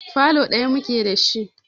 Falo ɗaya muke da shi.